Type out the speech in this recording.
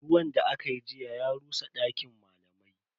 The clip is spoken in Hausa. Ruwan da akayi jiya ya rusa dakin malamai.